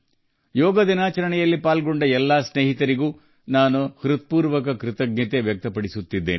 ಯೋಗ ದಿನದಂದು ಭಾಗವಹಿಸಿದ ಎಲ್ಲ ಸ್ನೇಹಿತರಿಗೆ ನನ್ನ ಹೃತ್ಪೂರ್ವಕ ಕೃತಜ್ಞತೆಗಳನ್ನು ಸಲ್ಲಿಸುತ್ತೇನೆ